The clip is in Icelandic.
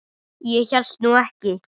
Ég hélt nú ekki.